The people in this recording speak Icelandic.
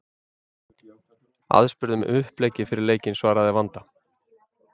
Aðspurð um uppleggið fyrir leikinn svaraði Vanda: